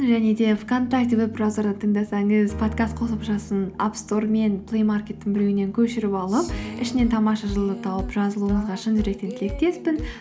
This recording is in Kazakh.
және де вконтакте веб браузерден тыңдасаңыз подкаст қосымшасын апстор мен плеймаркеттің біреуінен көшіріп алып ішінен тамаша жыл ды тауып жазылуыңызға шын жүректен тілектеспін